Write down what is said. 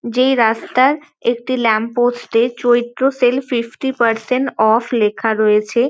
যেই রাস্তার একটি ল্যাম্পপোস্ট -এ Chaitra sale fifty percent off লেখা রয়েছে।